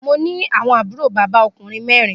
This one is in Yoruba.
Mo ni awọn àbúrò bàbá okùnrin mẹrin.